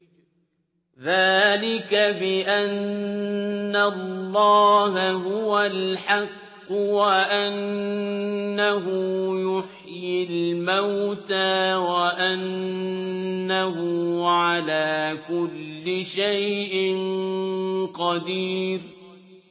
ذَٰلِكَ بِأَنَّ اللَّهَ هُوَ الْحَقُّ وَأَنَّهُ يُحْيِي الْمَوْتَىٰ وَأَنَّهُ عَلَىٰ كُلِّ شَيْءٍ قَدِيرٌ